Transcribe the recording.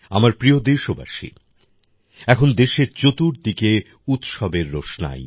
আমার প্রিয় দেশবাসী এখন দেশের চতুর্দিকে উৎসবের রোশনাই